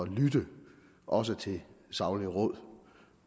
lytte også til saglige råd